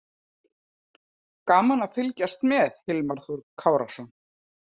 Gaman að fylgjast með: Hilmar Þór Kárason.